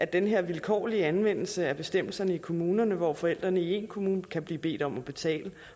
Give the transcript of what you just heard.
den her vilkårlige anvendelse af bestemmelserne i kommunerne hvor forældrene i en kommune kan blive bedt om at betale